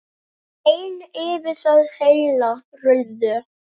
En yfir það heila: Rauður.